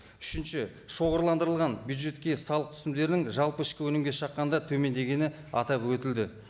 үшінші шоғырландырылған бюджетке салық түсімдерінің жалпы ішкі өнімге шаққанда төмендегені атап өтілді